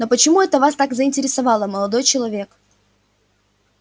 но почему это вас так заинтересовало молодой человек